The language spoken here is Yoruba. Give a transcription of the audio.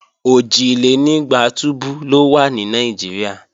Òjìlénígba túbú ló wà ní Nàìjíríà